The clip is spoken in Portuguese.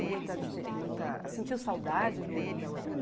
muita dife muita, sentiu saudade do da outra